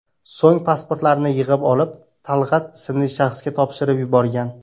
So‘ng pasportlarini yig‘ib olib, Talg‘at ismli shaxsga topshirib yuborgan.